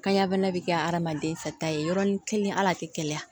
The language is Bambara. Kanya bana bi kɛ adamaden fɛta ye yɔrɔnin kelen ala tɛ kɛnɛya